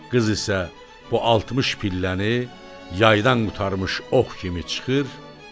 Qız isə bu 60 pilləni yaydan qurtarmış ox kimi çıxır.